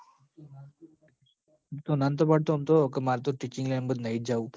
તું તો ના નતો પડતો અમ માર તો teaching line મ નહીં જ જવું